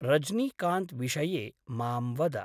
रज्नीकान्त् विषये मां वद।